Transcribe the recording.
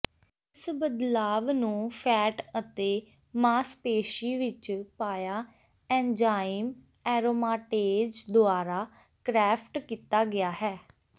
ਇਸ ਬਦਲਾਵ ਨੂੰ ਫੈਟ ਅਤੇ ਮਾਸਪੇਸ਼ੀ ਵਿੱਚ ਪਾਇਆ ਐਨਜ਼ਾਈਮ ਐਰੋਮਾਟੇਜ਼ ਦੁਆਰਾ ਕ੍ਰੈਫਟ ਕੀਤਾ ਗਿਆ ਹੈ